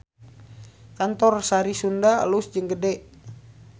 Kantor Sari Sunda alus jeung gede